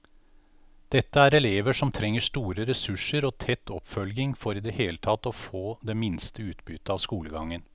Dette er elever som trenger store ressurser og tett oppfølging for i det hele tatt å få det minste utbytte av skolegangen.